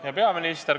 Hea peaminister!